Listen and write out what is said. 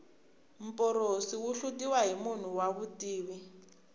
mporosi wu hlutiwa hi munhu wa vutivi